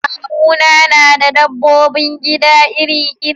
Kawuna na da dabbobin gida iri-iri.